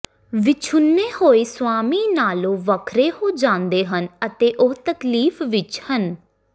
ਵਿਛੁੰਨੇ ਹੋਏ ਸੁਆਮੀ ਨਾਲੋ ਵੱਖਰੇ ਹੋ ਜਾਂਦੇ ਹਨ ਅਤੇ ਉਹ ਤਕਲੀਫ ਵਿੱਚ ਹਨ